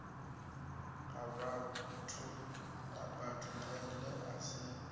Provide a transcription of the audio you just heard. ha batho pele a si